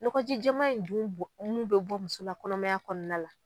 Ɲɔkɔ jija in dun bɔ mun bi bɔ musola kɔnɔmaya kɔnɔna la